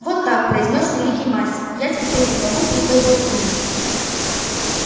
вот так произнёс великий мастер я терпеть не могу пустой болтовни